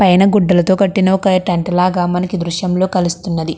పైన గుడ్డలతో కట్టిన ఒక టెంట్ లాగా మనకి దృశ్యం లో కలుస్తున్నది.